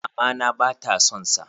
A'a, mama na ba ta son sa.